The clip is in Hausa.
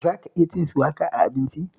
Za ka iya cin shuwaka a abinci?